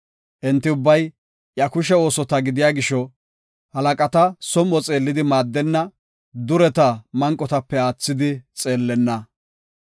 Enti ubbay iya kushe oosota gidiya gisho, Halaqata som7o xeellidi maaddenna; dureta manqotape aathidi xeellenna.